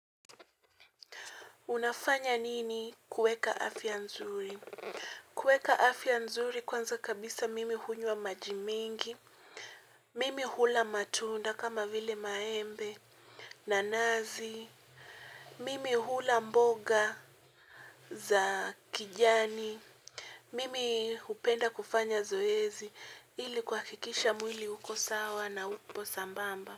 Unafanya nini kuweka afya nzuri? Kuweka afya nzuri kwanza kabisa mimi hunywa maji mingi. Mimi hula matunda kama vile maembe nanasi. Mimi hula mboga za kijani. Mimi upenda kufanya zoezi ili kuhakikisha mwili uko sawa na upo sambamba.